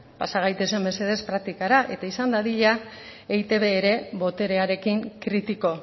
pasa gaitezen mesedez praktikara eta izan dadila eitb ere boterearekin kritiko